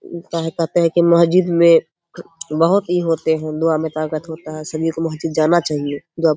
इ कह कहते है की महजिद में बहुत इ होते हैं दुवा में ताकत होता है सभी को महजिद जाना चाहिए दुआ --